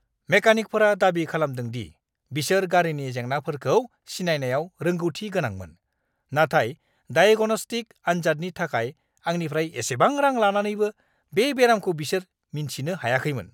मेकानिकफोरा दाबि खालामदों दि बिसोर गारिनि जेंनाफोरखौ सिनायनायाव रोंगौथि गोनांमोन, नाथाय दायेग'न'स्टिक्स आनजादनि थाखाय आंनिफ्राय एसेबां रां लानानैबो बे बेरामखौ बिसोर मिन्थिनो हायाखैमोन!